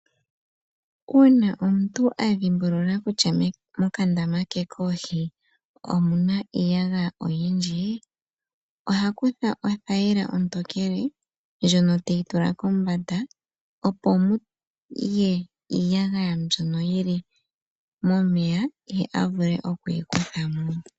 Uuna omuntu a dhimbulula kutya mokandama ke koohi omu na iiyagaya oyindji, oha kutha othayila ontokele ndjono teyi tula kombanda, opo muye iiyagaya mbyono yi li momeya, ye a vule okuyi kutha mo.